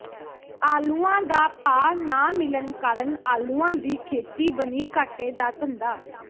ਆਲੂਆਂ ਦਾ ਭਾਅ ਨਾ ਮਿਲਣ ਕਾਰਨ ਆਲੂਆਂ ਦੀ ਖੇਤੀ ਬਣੀ ਘਾਟੇ ਦਾ ਧੰਦਾ